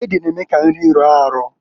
Ede na-eme ka nri rọọ arọọ.